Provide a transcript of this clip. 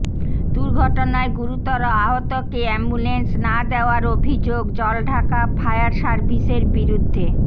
দুর্ঘটনায় গুরুতর আহতকে অ্যাম্বুলেন্স না দেওয়ার অভিযোগ জলঢাকা ফায়ার সার্ভিসের বিরুদ্ধে